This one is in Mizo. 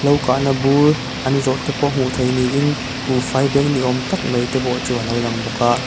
hlo kahna bur an zawrh te pawh hmuh theih niin buhfai bag ni awm tak mai te pawh chu alo lang bawk a.